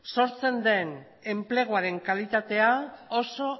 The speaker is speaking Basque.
sortzen den enpleguaren kalitatea oso